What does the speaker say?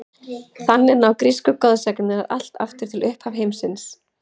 Þannig ná grísku goðsagnirnar allt aftur til upphafs heimsins.